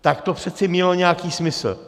Tak to přece mělo nějaký smysl.